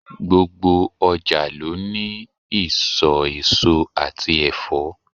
Gbogbo ọjà ló ní ìsò èso àti Ẹ̀fọ́.